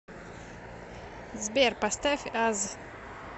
сбер поставь аз